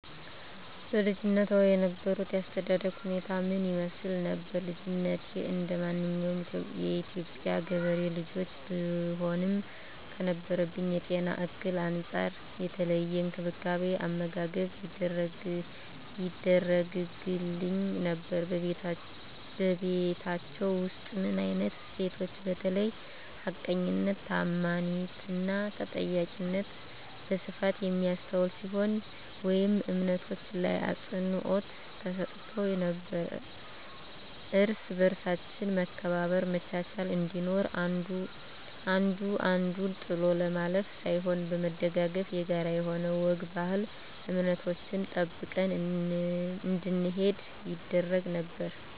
በልጅነትዎ የነበሮት የአስተዳደግ ሁኔታ ምን ይመስል ነበር? ልጅነቴ እንደማንኛውም የኢትዮጵያ ገበሬ ልጆች ብሆንም ከነበረብኝ የጤና እክል አንፃር የተለየ እንክብካቤ አመጋገብ ይደረግግልኝ ነበር በቤታቹ ውስጥ ምን አይነት እሴቶች በተለይ ሀቀኝነት ታአማኒትና ተጠያቂነት በስፋት የሚስተዋል ሲሆን ወይም እምነቶች ላይ አፅንዖት ተሰጥቶ ነበረው እርስ በርሳችን መከባበር መቻቻል እንዲኖር አንዱ አንዱን ጥሎ ለማለፍ ሳይሆን በመደጋገፍ የጋራ የሆኑ ወግ ባህል እምነቶችን ጠብቀን እንድንሄድ ይደረግ ነበር